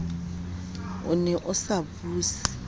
o ne a sa buse